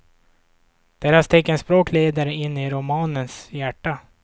Deras teckenspråk leder in i romanens hjärta.